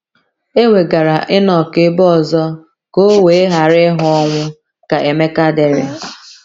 “ E wegara Ịnọk ebe ọzọ ka o wee ghara ịhụ ọnwụ, ” ka Emeka dere.